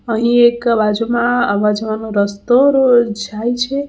અહીં એક બાજુમાં આવા જવાનો રસ્તો જાય છે.